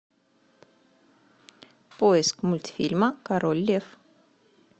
поиск мультфильма король лев